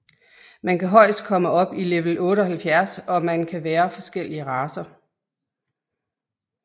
Man kan højest komme op i level 78 og man kan være forskellige racer